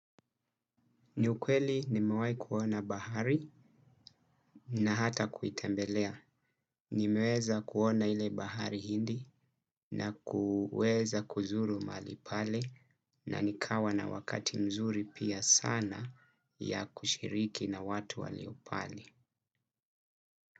Ni ukweli nimewai kuona bahari na hata kuitembelea. Nimeweza kuona ile bahari hindi na kuweza kuzuru malipale na nikawa na wakati mzuri pia sana ya kushiriki na watu walio pale.